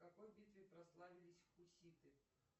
в какой битве прославились хуситы